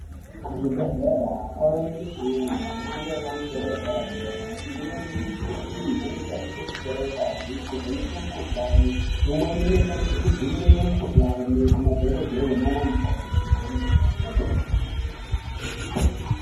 Kuzvibhedhlera kwakuwanikwa mishini yemhando yepamusoro yedera dera imweni yemushina iyi inoshandiswa kutora ngazi kuvheneka mukuhlani imwenh inoshandiswa kudzivirira mukuhlani Kumadhokodheya nan mukoti kwemene.